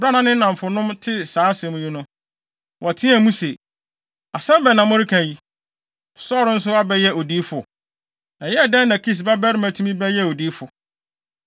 Bere a ne nnamfonom tee saa asɛm yi no, wɔteɛɛ mu se, “Asɛm bɛn na moreka yi? Saulo nso abɛyɛ odiyifo? Ɛyɛɛ dɛn na Kis babarima tumi bɛyɛɛ odiyifo?”